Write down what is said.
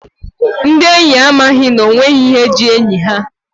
Ndi enyi a amaghị n'onweghi ihe ji enyi ha.